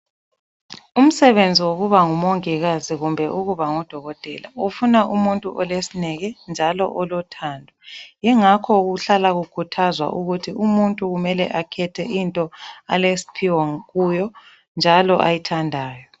Umsebenzi wokuba ngumongikazi kumbe ukuba ngudokotela ufuna umuntu olesineke njalo olothando. Yingakho kuhlala kukhuthazwa ukuthi umuntu kumele akhethe into alesiphiwo kuyo njalo ayithandayo.